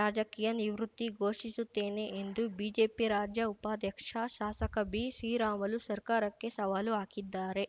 ರಾಜಕೀಯ ನಿವೃತ್ತಿ ಘೋಷಿಸುತ್ತೇನೆ ಎಂದು ಬಿಜೆಪಿ ರಾಜ್ಯ ಉಪಾಧ್ಯಕ್ಷ ಶಾಸಕ ಬಿಶ್ರೀರಾಮುಲು ಸರ್ಕಾರಕ್ಕೆ ಸವಾಲು ಹಾಕಿದ್ದಾರೆ